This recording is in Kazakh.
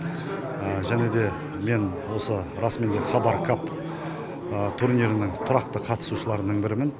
және де мен осы расыменде хабар кап турнирінің қатысушыларының бірімін